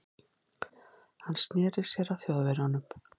Hann sneri sér að Þjóðverjanum.